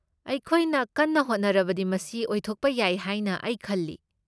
ꯑꯩꯈꯣꯏꯅ ꯀꯟꯅ ꯍꯣꯠꯅꯔꯕꯗꯤ ꯃꯁꯤ ꯑꯣꯏꯊꯣꯛꯄ ꯌꯥꯏ ꯍꯥꯏꯅ ꯑꯩ ꯈꯜꯂꯤ꯫